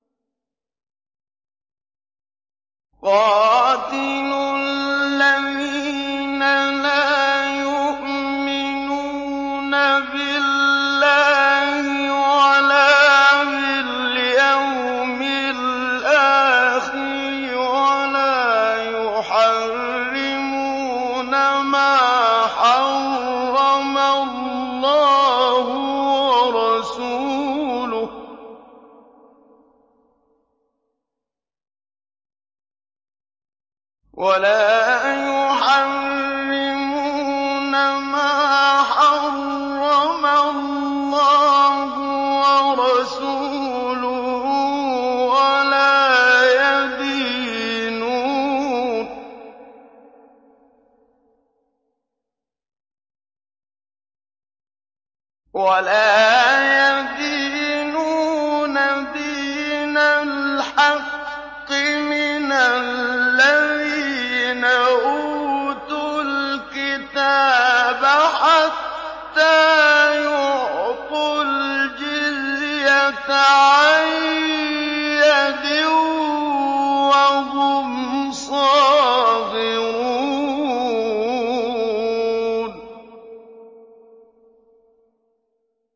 قَاتِلُوا الَّذِينَ لَا يُؤْمِنُونَ بِاللَّهِ وَلَا بِالْيَوْمِ الْآخِرِ وَلَا يُحَرِّمُونَ مَا حَرَّمَ اللَّهُ وَرَسُولُهُ وَلَا يَدِينُونَ دِينَ الْحَقِّ مِنَ الَّذِينَ أُوتُوا الْكِتَابَ حَتَّىٰ يُعْطُوا الْجِزْيَةَ عَن يَدٍ وَهُمْ صَاغِرُونَ